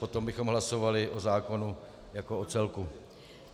Potom bychom hlasovali o zákonu jako o celku.